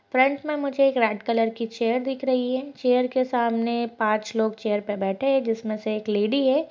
Front में मुझे एक रेड कलर की चेयर दिख रही है। चेयर के सामने पांच लोग चेयर पे बैठे हैं जिसमें से एक लेडी है।